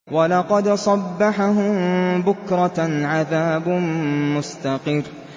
وَلَقَدْ صَبَّحَهُم بُكْرَةً عَذَابٌ مُّسْتَقِرٌّ